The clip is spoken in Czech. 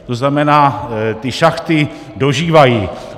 To znamená, ty šachty dožívají.